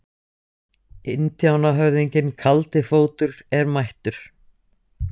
Indíánahöfðinginn Kaldi fótur er mættur!